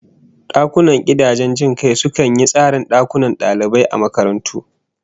Dakunan gidajen jin kai sukan yi tsarin dakunan dalibai a makarantu